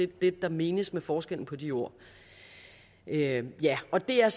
det der menes med forskellen på de ord ja ja og det er